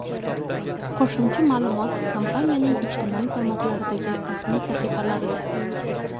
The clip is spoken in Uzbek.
Qo‘shimcha ma’lumot kompaniyaning ijtimoiy tarmoqlardagi rasmiy sahifalarida.